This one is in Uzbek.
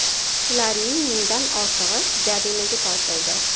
Shularning mingdan ortig‘i jarimaga tortildi.